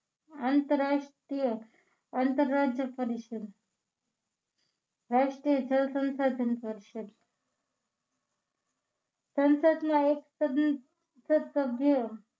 આંતરરાષ્ટ્રીય આંતરરાજ્ય પરિષદ રાષ્ટ્રીય જનસંસાધન પરિષદ સંસદમાં એક સંસદ સભ્ય